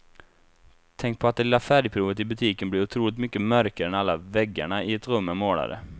Tänk på att det lilla färgprovet i butiken blir otroligt mycket mörkare när alla väggarna i ett rum är målade.